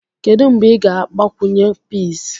Kedu mgbe ị ga-agbakwunye peas?